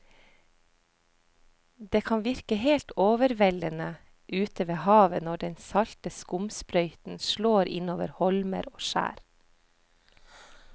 Det kan virke helt overveldende ute ved havet når den salte skumsprøyten slår innover holmer og skjær.